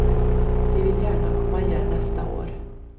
De vill gärna komma igen nästa år.